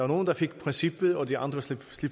nogle der fik princippet og de andre slap